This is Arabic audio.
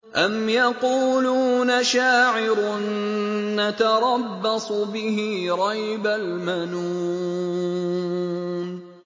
أَمْ يَقُولُونَ شَاعِرٌ نَّتَرَبَّصُ بِهِ رَيْبَ الْمَنُونِ